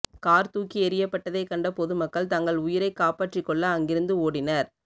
car தூக்கி எறியப்பட்டதை கண்ட பொதுமக்கள் தங்கள் உயிரை காப்பாற்றி கொள்ள அங்கிருந்து ஓடினர்